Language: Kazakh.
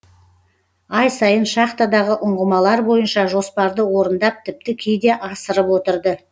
ай сайын шахтадағы ұңғымалар бойынша жоспарды орындап тіпті кейде асырып отырды